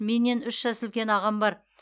менен үш жас үлкен ағам бар